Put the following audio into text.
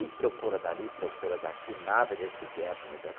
E, procura dali, procura daqui, nada desse Beto, meu Deus.